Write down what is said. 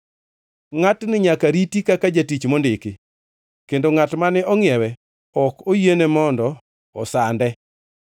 Ngʼatni nyaka riti kaka jatich mondiki kendo ngʼat mane ongʼiewe ok oyiene mondo osande.